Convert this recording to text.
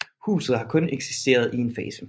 Huset har kun eksisteret i en fase